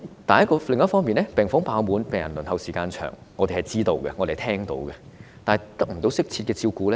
另一方面，病房爆滿，病人輪候時間長，病人得不到適切照顧。